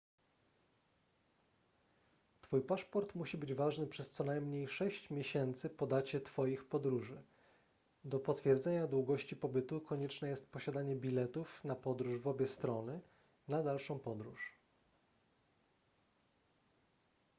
twój paszport musi być ważny przez co najmniej sześć miesięcy po dacie twoich podróży do potwierdzenia długości pobytu konieczne jest posiadanie biletów na podróż w obie strony / na dalszą podróż